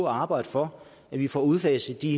arbejde for at vi får udfaset de